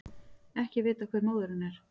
Ekki er vitað hver móðirin er